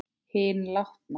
Hinn látna.